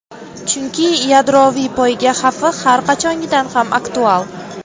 chunki yadroviy poyga xavfi har qachongidan ham aktual.